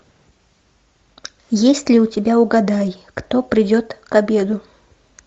есть ли у тебя угадай кто придет к обеду